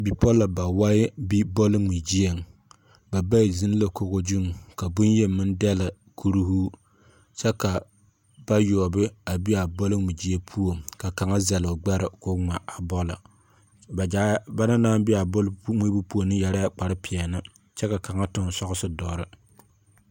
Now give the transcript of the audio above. Bipɔlɔ bawae bi bɔle ŋme gyieŋ. Ba bayi gyiŋ la kogo gyuŋ, ka boŋyeni meŋ dɛle kurihuu, kyɛ ka bayoɔbe a bi a bɔle ŋme gyie puoŋ. Ka kaŋa zɛle o gbɛre ka ŋme a bɔle. Ba gyaa, bana ne aŋ bi a bɔle ŋmeebo puoŋ ne yɛrɛɛ kpare peɛne kyɛ ka kaŋa toŋ sɔgese doɔre.